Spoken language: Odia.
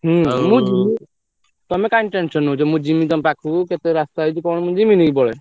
ହୁଁ ମୁ ଜିମି ତମେ କାଇଁ tension ନଉଛ ମୁ ଜିମି ତମ ପାଖକୁ କେତେ ରାସ୍ତା ହେଇଛି କଣ ମୁ ଜିମିନୀ କି ପଳେଇ।